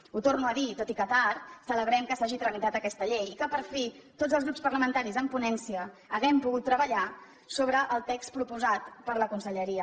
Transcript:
ho torno a dir tot i que tard celebrem que s’hagi tramitat aquesta llei i que per fi tots els grups parlamentaris en ponència hàgim pogut treballar sobre el text proposat per la conselleria